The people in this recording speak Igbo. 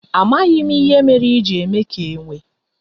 Amaghim ihe mere i ji eme ka enwe